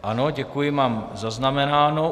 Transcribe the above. Ano, děkuji, mám zaznamenáno.